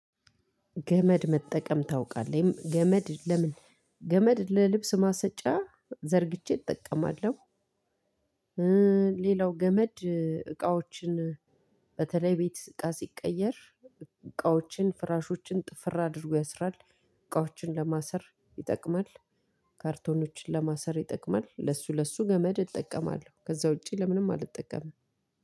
ገመድ መጠቀም ታውቃለህ? ገመድ ለምን ገመድ ለልብስ ማሰጫ ዘርግቼ እጠቀማለሁ። ሌላው ገመድ እቃዎችን በተለይ ቤት እቃ ሲቀየር እቃዎችን ፍራሾችን ጥፍር አድርጎ ያስራል። እቃዎችን ለማሰር ይጠቅማል። ካርቶኖችን ለማሰር ይጠቅማል ለሱ ለሱ ገመድ እጠቀማለሁ ከዛ ውጪ ለምንም አልጠቀምም።